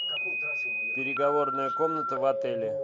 переговорная комната в отеле